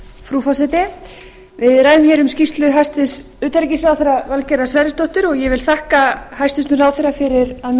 frú forseti við ræðum hér um skýrslu hæstvirts utanríkisráðherra valgerðar sverrisdóttur og ég vil þakka hæstvirtum ráðherra fyrir að mér